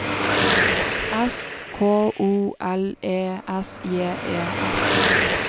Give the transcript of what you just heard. S K O L E S J E F